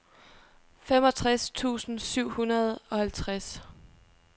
femogtres tusind syv hundrede og halvtreds